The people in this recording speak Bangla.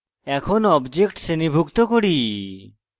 এখন objects শ্রেণীভুক্ত করি